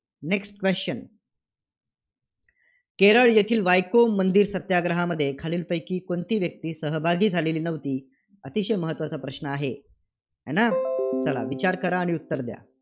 Next question Kerala येथील वायको मंदिर सत्याग्रहामध्ये खालीलपैकी कोणती व्यक्ती सहभागी झालेली होती? अतिशय महत्त्वाचा प्रश्न आहे. आहे ना? चला, विचार करा आणि उत्तर द्या.